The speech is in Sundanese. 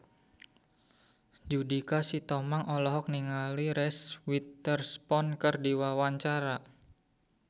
Judika Sitohang olohok ningali Reese Witherspoon keur diwawancara